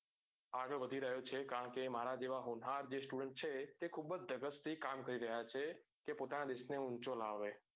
આગળ વધી રહ્યો છે કારણ કે મારા જેવા જે હુન્હાર જે student છે તે ખુબ જ ધગસ થી કામ કરી રહ્યા છે તે પોતાના દેશ ને ઉંચો લાવે.